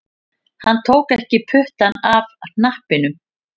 Hann tók ekki puttann af hnappinum